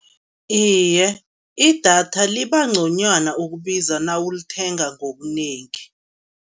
Iye, idatha libanconywana ukubiza nawulithenga ngobunengi.